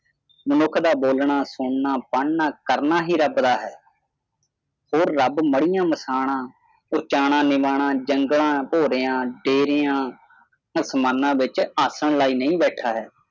ਮਨੁੱਖ ਦਾ ਬੋਲਣਾ ਸੁਣਨਾ ਪੜ੍ਹਨਾ ਕਰਨਾ ਹੀ ਰੱਬ ਦਾ ਹੈ ਹੋਰ ਰੱਬ ਮੜੀਆਂ ਮਸਾਣਾਂ ਉਚਾਹੁਣਾ ਨਿਵਾਣਾ ਜੰਗਲਾਂ ਭੋਰਿਆਂ ਡੇਰਿਆਂ ਅਸਮਾਨਾਂ ਵਿਚ ਆਸਣ ਲਾਇ ਨਹੀਂ ਬੈਠਾ ਹੈਂ